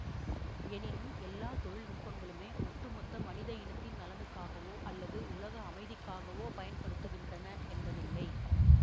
எனினும் எல்லா தொழில் நுட்பங்களுமே ஒட்டுமொத்த மனித இனத்தின் நலனுக்காகவோ அல்லது உலக அமைதிக்காகவோ பயன்படுகின்றன என்பதில்லை